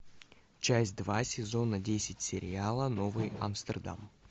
часть два сезона десять сериала новый амстердам